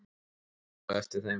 Hann horfði á eftir þeim.